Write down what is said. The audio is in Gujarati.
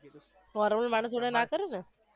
વરુણ મારી જોડે ના કરે ને